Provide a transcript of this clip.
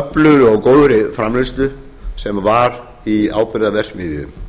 öflugri og góðri framleiðslu sem vr í áburðarverksmiðja